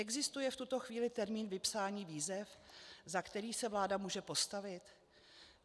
Existuje v tuto chvíli termín vypsání výzev, za který se vláda může postavit?